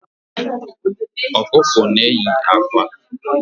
Ọkụkọ n'eyi ákwá